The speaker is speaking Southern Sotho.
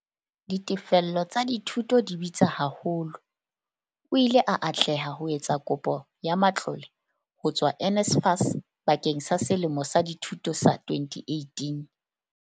"Ditefello tsa dithuto di bitsa haholo. O ile a atleha ho etsa kopo ya matlole ho tswa NSFAS bakeng sa selemo sa dithuto sa 2018."